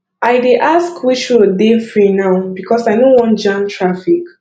i dey ask which road dey free now because i no wan jam traffic